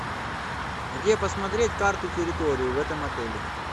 где посмотреть карту территории в этом отеле